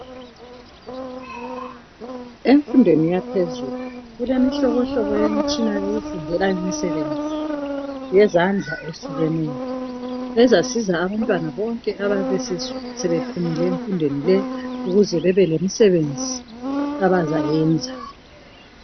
Emfundweni yaphezulu kulemihlobohlobo yemitshina yokufundela imisebenzi yezandla ehlukeneyo ezasiza abantwana bonke abayabe sebephumile emfundweni le ukuze bebelemisebenzi abazayenza.